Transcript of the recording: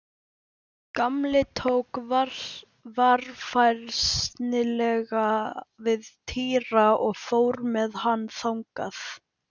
Gamli tók varfærnislega við Týra og fór með hann þangað.